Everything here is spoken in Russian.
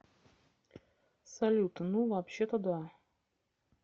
салют ну вообще то да